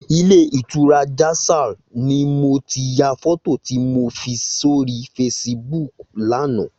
Ilé itúrá Jasal ni mó ti yá fòtó ti mó fi sóri fésibúk làná